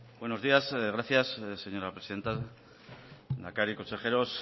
buenos días gracias señora presidenta lehendakari consejeros